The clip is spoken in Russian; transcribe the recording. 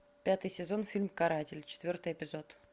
пятый сезон фильм каратель четвертый эпизод